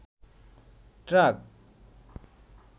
truck